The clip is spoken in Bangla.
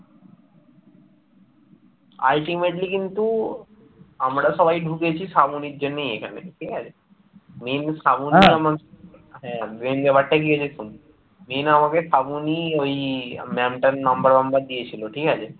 হ্যাঁ main ব্যাপারটা কি হয়েছে শোন । main আমাকে শ্রাবণী ওই ma'am টার number তাম্বার দিয়েছিল ঠিক আছে